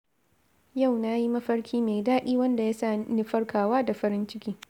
Yau na yi mafarki mai daɗi wanda ya sa ni farkawa da farin ciki.